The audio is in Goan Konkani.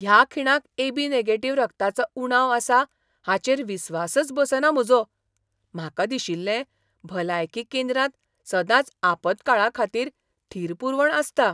ह्या खिणाक एबी नॅगेटीव्ह रक्ताचो उणाव आसा हाचेर विस्वासच बसना म्हजो. म्हाका दिशिल्लें भलायकी केंद्रांत सदांच आपतकाळाखातीर थीर पुरवण आसता.